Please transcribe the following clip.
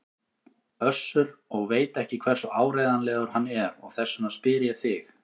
Össur og veit ekki hversu áreiðanlegur hann er og þess vegna spyr ég þig.